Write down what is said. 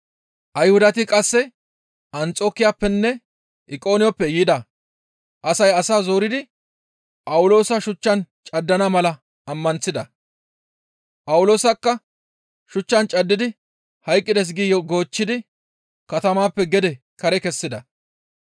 Ayhudati qasse Anxokiyappenne Iqoniyooneppe yida asay asaa zoridi Phawuloosa shuchchan caddana mala ammanththida; Phawuloosakka shuchchan caddidi hayqqides gi goochchidi katamappe gede kare kessida.